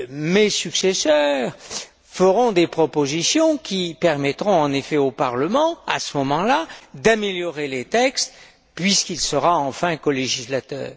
Mes successeurs feront des propositions qui permettront au Parlement, à ce moment là, d'améliorer les textes, puisqu'il sera enfin colégislateur.